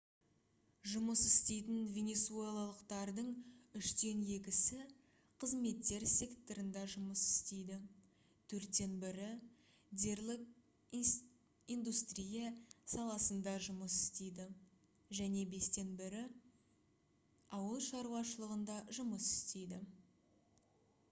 жұмыс істейтін венесуэлалықтардың үштен екісі қызметтер секторында жұмыс істейді төрттен бірі дерлік индустрия саласында жұмыс істейді және бестен бір бөлігі ауыл шаруашылығында жұмыс істейді